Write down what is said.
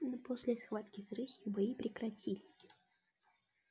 но после схватки с рысью бои прекратились